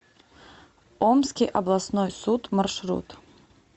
омский областной суд маршрут